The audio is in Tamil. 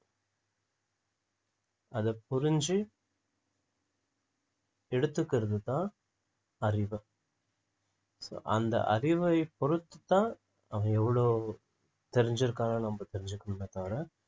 அத புரிஞ்சு எடுத்துக்கிறதுதான் அறிவு so அந்த அறிவை பொறுத்துதான் அவன் எவ்ளோ தெரிஞ்சு இருக்கான்னு நம்ம தெரிஞ்சுக்கணுமே தவிர